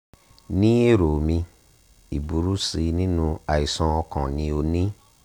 ní èrò mi ìburú sí nínú àìsàn ọkàn ni o ní